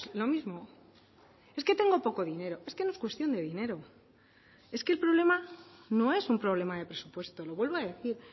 lo mismo es que tengo poco dinero es que no es cuestión de dinero es que el problema no es un problema de presupuesto lo vuelvo a decir